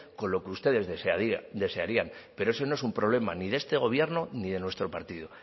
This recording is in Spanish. con lo que ustedes desearían pero eso no es un problema ni de este gobierno ni de nuestro partido